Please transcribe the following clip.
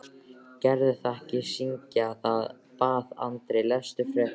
Gerðu það ekki syngja, bað Andri, lestu frekar.